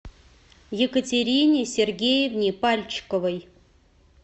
екатерине сергеевне пальчиковой